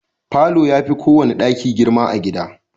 Falo ya fi kowane daki girma a gida.